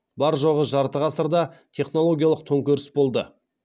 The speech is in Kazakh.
бар жоғы жарты ғасырда технологиялық төңкеріс болды